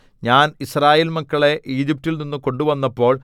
ഞാൻ യിസ്രായേൽ മക്കളെ ഈജിപ്റ്റിൽനിന്നു കൊണ്ടുവന്നപ്പോൾ